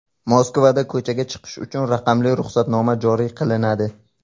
Moskvada ko‘chaga chiqish uchun raqamli ruxsatnoma joriy qilinadi.